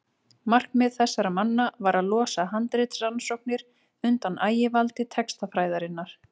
markmið þessara manna var að losa handritarannsóknir undan ægivaldi textafræðinnar